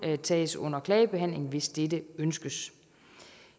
tages under klagebehandling hvis dette ønskes